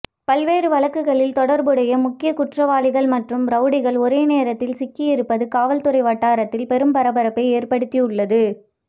பல்வேறு வழக்குகளில் தொடர்புடைய முக்கிய குற்றவாளிகள் மற்றும் ரவுடிகள் ஒரே நேரத்தில் சிக்கியிருப்பது காவல்துறை வட்டாரத்தில் பெரும் பரபரப்பை ஏற்படுத்தியுள்ளது